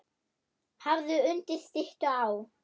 Hafður undir styttu sá.